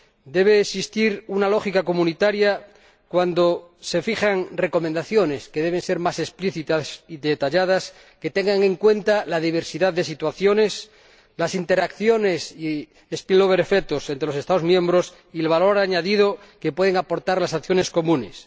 debe existir una lógica comunitaria cuando se fijan recomendaciones, que deben ser más explícitas y detalladas, que tengan en cuenta la diversidad de situaciones, las interacciones y los efectos de arrastre entre los Estados miembros, así como el valor añadido que pueden aportar las acciones comunes.